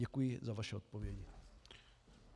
Děkuji za vaše odpovědi.